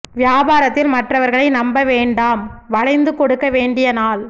வியாபாரத்தில் மற்றவர்களை நம்ப வேண்டாம் வளைந்து கொடுக்க வேண்டிய நாள்